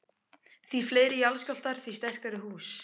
Því fleiri jarðskjálftar, því sterkari hús.